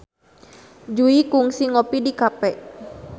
Jui kungsi ngopi di cafe